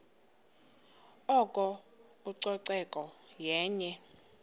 oko ucoceko yenye